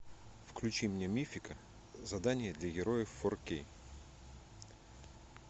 включи мне мифика задание для героев фор кей